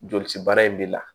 Joli ci baara in bɛ la